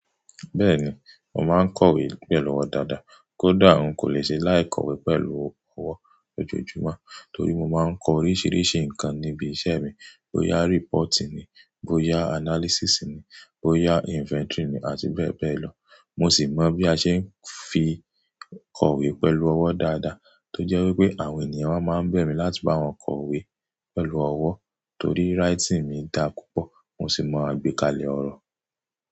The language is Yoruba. Bẹ́ẹ̀ni, mo máa ń kọ̀wé pẹ̀lú ọwọ́ dáadáa. Kódà n kò lè ṣe láì kọ̀wé pẹ̀lú ọwọ́ lójoojúmọ́ torí mo máa ń kọ oríṣiríṣi nǹkan níbi iṣẹ́ mi. Bo ya reporti ni, bo ya analysisi ni, bo ya infentori ni àti bẹ́ẹ̀ bẹ́ẹ̀ lọ. Mo sì mọ bí a ṣe ń fi kọ̀wé pẹ̀lú ọwọ́ dáadáa. Tó jẹ́ wípé àwọn ènìyàn máa ń bẹ̀ mí láti bá wọn kọ̀wé pẹ̀lú ọwọ́ torí writini mi dá púpọ̀, mo sì mọ̀ gbé kalẹ̀ ọ̀rọ̀.